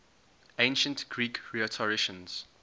ancient greek rhetoricians